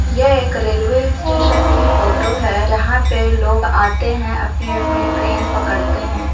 यह एक railway station की फोटो है जहाँ पर लोग आते है अपनी-अपनी ट्रेन पकड़ते है।